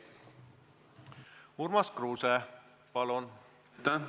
Urmas Kruuse, palun!